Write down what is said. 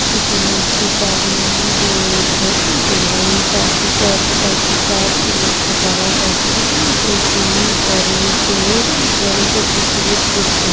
পিছনে একটি বাড়িইই রয়েছে এবং পাশে কয় প্রকার একটি গাছ লক্ষ্য করা যাচ্ছে এটি পড়ন্ত পড়ন্ত দুপুরের দৃশ্য।